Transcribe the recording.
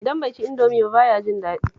Idan bai ci Indomi ba ba ya jin daɗi